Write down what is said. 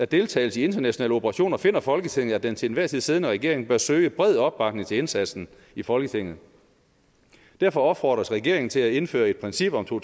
deltagelse i internationale operationer finder folketinget at den til enhver tid siddende regering bør søge bred opbakning til indsatsen i folketinget derfor opfordres regeringen til at indføre et princip om to